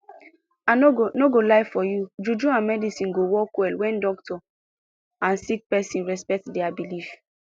i no go no go lie for you juju and medicine go work well wen doctor and sick pesin respect dia believe